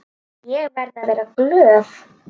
Ég verði að vera glöð.